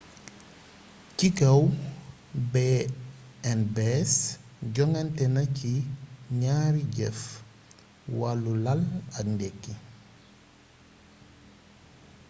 ci kaw b&bs jonganténa ci gnaari yeef: wallu lal ak ndekki